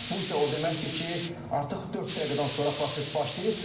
Bu isə o deməkdir ki, artıq dörd dəqiqədən sonra proses başlayır.